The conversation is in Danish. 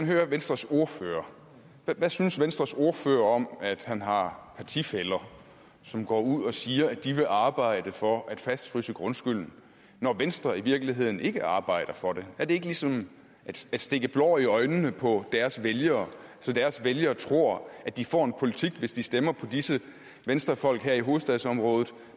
høre venstres ordfører hvad synes venstres ordfører om at han har partifæller som går ud og siger at de vil arbejde for at fastfryse grundskylden når venstre i virkeligheden ikke arbejder for det er det ikke ligesom at stikke blår i øjnene på deres vælgere så deres vælgere tror at de får en bestemt politik hvis de stemmer på disse venstrefolk her i hovedstadsområdet